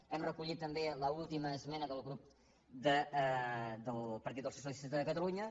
hem recollit també l’última esmena del partit dels socialistes de catalunya